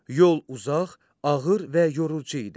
Yol uzaq, ağır və yorucu idi.